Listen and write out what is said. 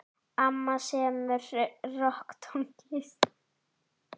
Amma semur rokktónlist.